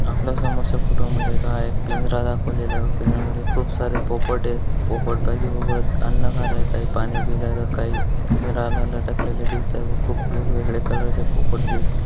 आपल्या समोरच्या फोटो मध्ये हा एक पिंजरा दाखवलेल आहे. पिंजरामध्ये खूप सारे पोपट आहेत. पोपट अन्न खातायत. काही पाणी पितायत. काही पिंजराला लटकलेल दिसत आहे. खूप वेगवेगळे कलर चे पोपट दिसत--